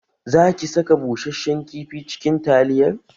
Za kisaka bushashen kifi cikin taliyar?